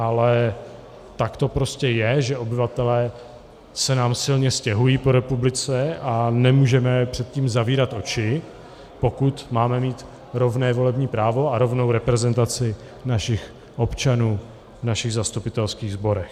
Ale tak to prostě je, že obyvatelé se nám silně stěhují po republice, a nemůžeme před tím zavírat oči, pokud máme mít rovné volební právo a rovnou reprezentaci našich občanů v našich zastupitelských sborech.